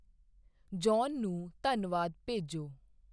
John ਨੂੰ ਧੰਨਵਾਦ ਭੇਜੋ।